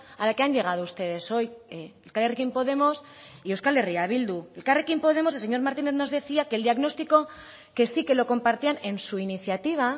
a la que han llegado ustedes hoy elkarrekin podemos y euskal herria bildu elkarrekin podemos el señor martínez nos decía que el diagnóstico que sí que lo compartían en su iniciativa